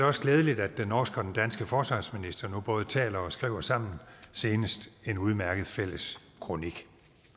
også glædeligt at den norske og den danske forsvarsminister nu både taler og skriver sammen senest en udmærket fælles kronik